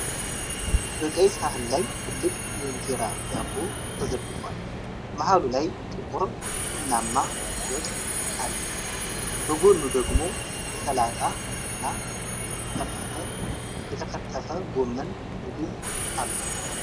በቀይ ሳህን ላይ ትልቅ የእንጀራ ዳቦ ተዘርግፏል። መሃሉ ላይ ጥቁር ቡናማ ወጥ አለ። በጎኑ ደግሞ የሰላጣ እና የተከተፈ ጎመን ምግብ አሉ።